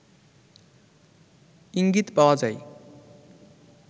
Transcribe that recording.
ইঙ্গিত পাওয়া যায়